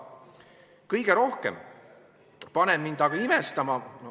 Kõige rohkem paneb mind aga imestama ...